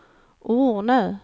Ornö